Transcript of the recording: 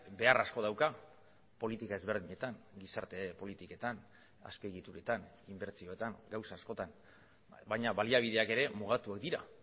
behar asko dauka politika ezberdinetan gizarte politiketan azpiegituretan inbertsioetan gauza askotan baina baliabideak ere mugatuak dira